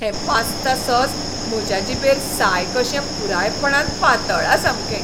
हें pasta sauce म्हज्या जिबेर साय कशें पुरायपणान पातळ्ळां सामकें.